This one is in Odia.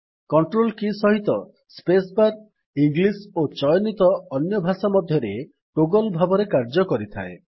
କଣ୍ଟ୍ରୋଲ କୀ ସହିତ ସ୍ପେସ୍ ବାର୍ ଇଂଲିସ୍ ଓ ଚୟନିତ ଅନ୍ୟ ଭାଷା ମଧ୍ୟରେ ଟୋଗଲ୍ ଭାବରେ କାର୍ଯ୍ୟ କରିଥାଏ